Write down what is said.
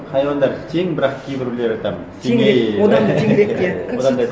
хайуандар тең бірақ кейбіреулері там теңде одан теңірек де